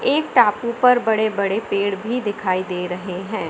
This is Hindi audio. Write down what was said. एक टापू पर बड़े बड़े पेड़ भी दिखाई दे रहे हैं।